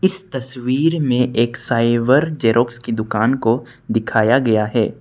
इस तस्वीर में एक साइबर जेरॉक्स की दुकान को दिखाया गया है।